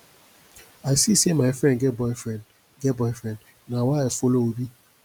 i see say my friend get boyfriend get boyfriend na why i follow obi